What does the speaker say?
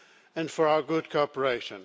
and for our good cooperation.